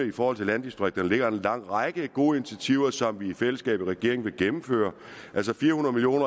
i forhold til landdistrikterne ligger en lang række gode initiativer som vi i fællesskab i regeringen vil gennemføre altså fire hundrede million